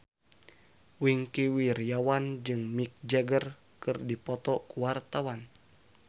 Wingky Wiryawan jeung Mick Jagger keur dipoto ku wartawan